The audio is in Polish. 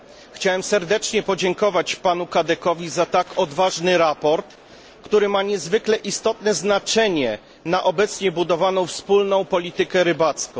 Chciałem serdecznie podziękować panu Cadecowi za tak odważne sprawozdanie, które ma niezwykle istotne znaczenie dla obecnie budowanej wspólnej polityki rybołówstwa.